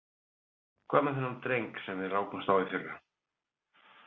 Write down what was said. Hvað með þennan dreng sem við rákumst á í fyrra?